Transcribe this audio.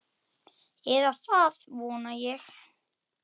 Eða það vona ég,